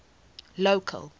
local